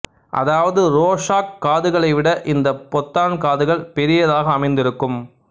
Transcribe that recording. அதாவது ரோசாக் காதுகளை விட இந்த பொத்தான் காதுகள் பெரியதாக அமைந்து இருக்கும்